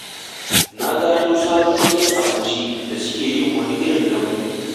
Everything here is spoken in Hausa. Na gano wani sabon gidan abinci da suke yin wani irin dambu.